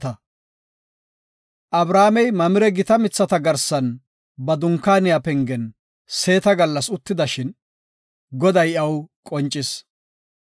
Abrahaamey Mamire gita mithata garsan ba dunkaaniya pengen seeta gallas uttidashin Goday iyaw qoncis.